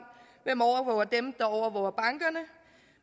hvem der overvåger bankerne